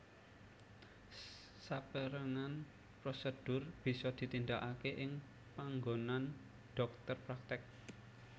Saperang prosedur bisa ditindakake ing panggonan dhokter praktek